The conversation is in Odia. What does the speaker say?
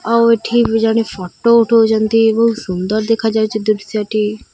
ଆଉ ଏଠି ବି ଜଣେ ଫଟୋ ଉଠଉଚନ୍ତି ସୁନ୍ଦର ଦେଖାଯାଉଚି ଦୃଶ୍ୟ ଟି।